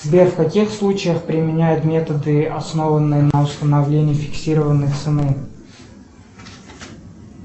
сбер в каких случаях применяют методы основанные на установлении фиксированной цены